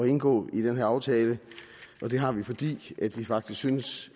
indgå i den her aftale og det har vi fordi vi faktisk synes